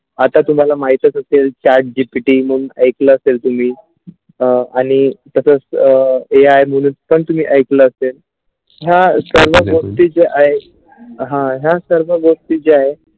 आता तुम्हाला माहीत असतील SAT. GPT म्हणून ऐकलं असेल तुम्ही अ आणि तसंच AI म्हणून पण तुम्ही ऐकलं असेल ह्या सर्व गोष्टी जे आहेत हा ह्या सर्व गोष्टी जे आहे.